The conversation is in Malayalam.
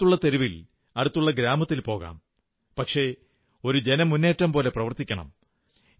അടുത്തുള്ള തെരുവിൽ അടുത്തുള്ള ഗ്രാമത്തിൽ പോകാം പക്ഷേ ഒരു ജനമുന്നേറ്റം പോലെ പ്രവർത്തിക്കണം